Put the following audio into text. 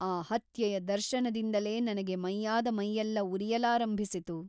ಆ ಹತ್ಯೆಯ ದರ್ಶನದಿಂದಲೇ ನನಗೆ ಮೈಯಾದ ಮೈಯ್ಯೆಲ್ಲ ಉರಿಯಲಾರಂಭಿಸಿತು.